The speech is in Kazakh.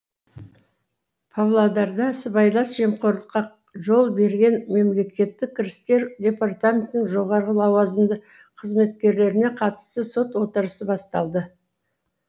павлодарда сыбайлас жемқорлыққа жол берген мемлекеттік кірістер департаментінің жоғары лауазымды қызметкерлеріне қатысты сот отырысы басталды